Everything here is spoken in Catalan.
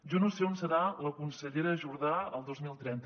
jo no sé on serà la consellera jordà el dos mil trenta